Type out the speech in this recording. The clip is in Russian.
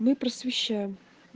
мы просвещаем